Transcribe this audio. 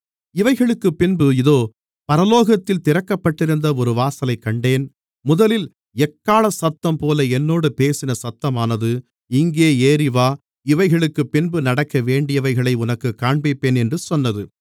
இவைகளுக்குப் பின்பு இதோ பரலோகத்தில் திறக்கப்பட்டிருந்த ஒரு வாசலைக் கண்டேன் முதலில் எக்காளசத்தம்போல என்னோடு பேசின சத்தமானது இங்கே ஏறிவா இவைகளுக்குப் பின்பு நடக்கவேண்டியவைகளை உனக்குக் காண்பிப்பேன் என்று சொன்னது